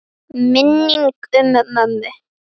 Minning um mömmu.